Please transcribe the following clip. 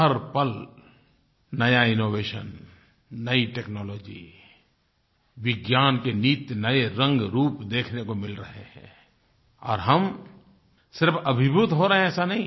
हर पल नया इनोवेशन नई टेक्नोलॉजी विज्ञान के नित नए रंगरूप देखने को मिल रहे हैं और हम सिर्फ अभिभूत हो रहे हैं ऐसा नहीं है